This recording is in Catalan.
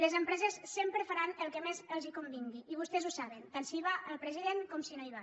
les empreses sempre faran el que més els convingui i vostès ho saben tant si hi va el president com si no hi va